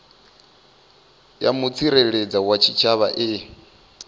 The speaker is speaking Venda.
ya mutsireledzi wa tshitshavha i